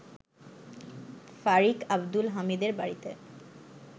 ফারিক আব্দুল হামিদের বাড়িতে